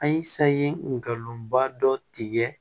A ye sayi ngalon ba dɔ tigɛ